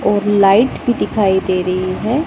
और लाइट भी दिखाई दे रही है।